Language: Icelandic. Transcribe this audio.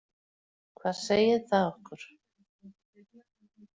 Hvað segir það okkur?